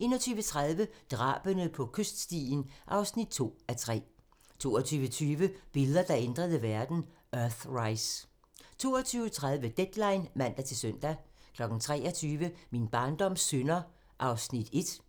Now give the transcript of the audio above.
21:30: Drabene på kyststien (2:3) 22:20: Billeder, der ændrede verden: Earthrise 22:30: Deadline (man-søn) 23:00: Min barndoms synder (1:3)